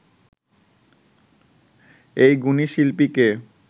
এই গুণী শিল্পীকে